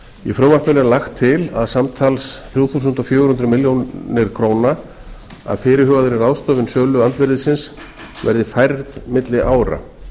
í frumvarpinu er lagt til að samtals þrjú þúsund fjögur hundruð milljóna króna af fyrirhugaðri ráðstöfun söluandvirðisins verði færðar milli ára